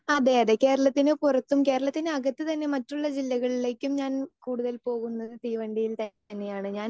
Speaker 2 അതെ അതെ കേരളത്തിന് പുറത്തും കേരളത്തിന് അകത്തു തന്നെ മറ്റുള്ള ജില്ലകളിലേക്കും ഞാൻ കൂടുതൽ പോകുന്നത് തീവണ്ടിയിൽ തന്നെയാണ്. ഞാൻ